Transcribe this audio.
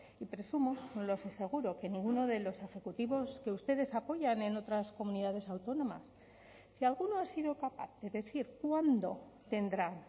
y presumo no lo sé seguro que ninguno de los ejecutivos que ustedes apoyan en otras comunidades autónomas si alguno ha sido capaz de decir cuándo tendrán